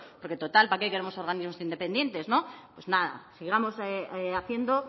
porque total para qué queremos organismos independientes pues nada sigamos haciendo